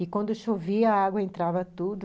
E, quando chovia, a água entrava tudo.